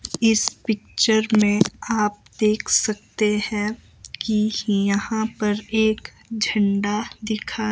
इस पिक्चर में आप देख सकते हैं कि यहां पर एक झंडा दिखा--